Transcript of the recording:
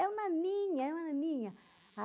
É uma ninã, é uma ninã